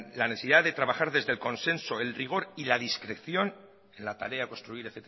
la necesidad de trabajar desde el consenso el rigor y la discreción en la tarea a construir